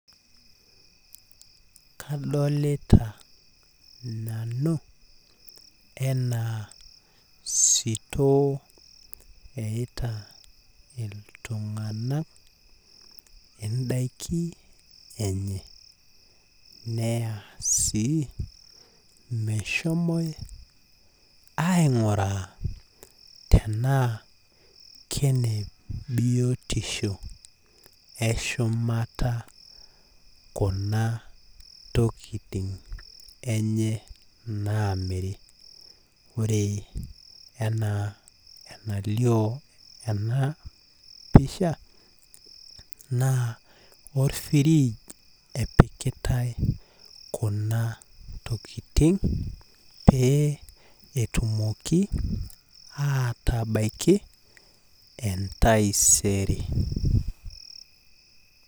Kadolita nanu anaa sitoo eyaita iltunganak indaiki enye neya sii meshomoe aingura tenaa kene biotisho eshumata kuna tokitin enye namiri ore enaa enalioo ena pisha naa orfridge epikitae kuna tokitin epikitae kuna tokitin pee etumoki atabaiki entaisere.